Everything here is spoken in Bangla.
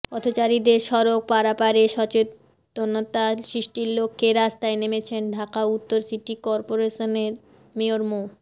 পথচারীদের সড়ক পারাপারে সচেতনতা সৃষ্টির লক্ষ্যে রাস্তায় নেমেছেন ঢাকা উত্তর সিটি করপোরেশনের মেয়র মো